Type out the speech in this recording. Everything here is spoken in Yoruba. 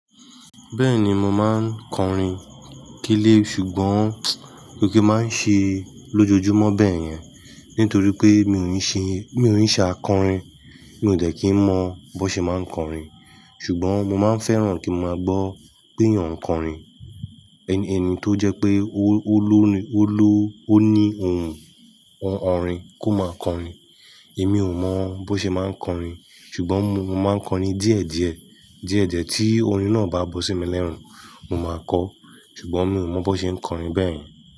Bẹ́ẹ̀ni mo máa ń kọrin kílé ṣùgbọ́n kò kí máa ń ṣe lójoojúmọ́ bẹ́ẹ̀ yẹn. Nítorí pé mi ò ní ṣe, mi ò ní ṣe akọrin. Mi ò dẹ̀ kí ń mọ bó ṣe máa ń kọrin. Ṣùgbọ́n mo máa ń fẹ́ràn kí máa gbọ́ pé èèyàn ń kọrin. Ẹni tó jẹ́ pé ó ló ni, ó ló, ó ní ohùn, orin kó máa kọrin. Èmi ò mọ bó ṣe máa ń kọrin. Ṣùgbọ́n mo, mo máa ń kọrin díẹ̀ díẹ̀, díẹ̀ díẹ̀ tí orin náà bá bọ́ sí mi lẹ́rùn. Mo máa kọ. Ṣùgbọ́n mi ò mọ bó ṣe ń kọrin bẹ́ẹ̀ yẹn.